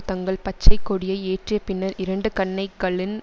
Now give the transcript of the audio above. தங்கள் பச்சைக்கொடியை ஏற்றிய பின்னர் இரண்டு கன்னைகளின்